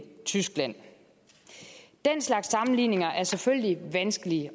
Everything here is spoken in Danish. tyskland den slags sammenligninger er selvfølgelig vanskelige